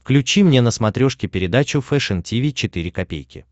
включи мне на смотрешке передачу фэшн ти ви четыре ка